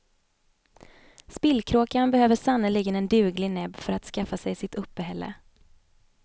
Spillkråkan behöver sannerligen en duglig näbb för att skaffa sig sitt uppehälle.